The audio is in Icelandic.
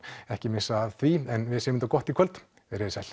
ekki missa af því en við segjum þetta gott í kvöld veriði sæl